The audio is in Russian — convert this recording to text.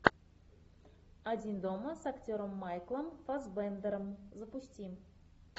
один дома с актером майклом фассбендером запусти